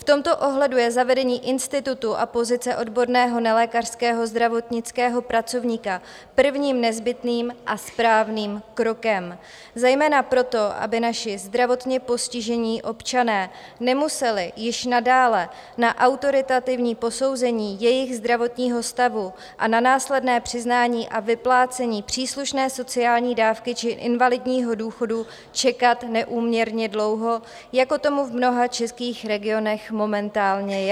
V tomto ohledu je zavedení institutu a pozice odborného nelékařského zdravotnického pracovníka prvním nezbytným a správným krokem zejména proto, aby naši zdravotně postižení občané nemuseli již nadále na autoritativní posouzení jejich zdravotního stavu a na následné přiznání a vyplácení příslušné sociální dávky či invalidního důchodu čekat neúměrně dlouho, jako tomu v mnoha českých regionech momentálně je.